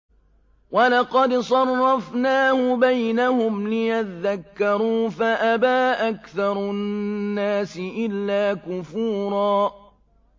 وَلَقَدْ صَرَّفْنَاهُ بَيْنَهُمْ لِيَذَّكَّرُوا فَأَبَىٰ أَكْثَرُ النَّاسِ إِلَّا كُفُورًا